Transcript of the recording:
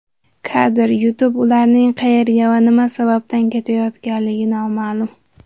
Kadr: YouTube Ularning qayerga va nima sababdan ketayotganligi noma’lum.